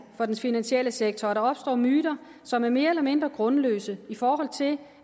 for den finansielle sektor at der opstår myter som er mere eller mindre grundløse i forhold til